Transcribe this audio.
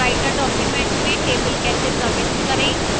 writer document में table कैसे प्रविष्ट करें